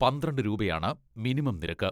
പന്ത്രണ്ട് രൂപയാണ് മിനിമം നിരക്ക്.